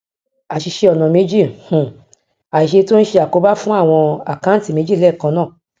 àsìse ọnà méjì um àsìse tí o n se àkóbá fún awon akanti meji leekan naa